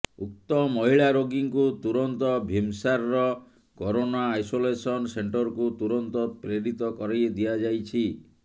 ଉକ୍ତ ମହିଳା ରୋଗୀଙ୍କୁ ତୁରନ୍ତ ଭିମସାରର କରୋନା ଆଇସୋଲେସନ ସେଣ୍ଟରକୁ ତୁରନ୍ତ ପ୍ରେରିତ କରିଦିଆ ଯାଇଛି